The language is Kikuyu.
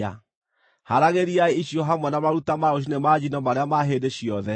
Haaragĩriai icio hamwe na maruta ma rũciinĩ ma njino marĩa ma hĩndĩ ciothe.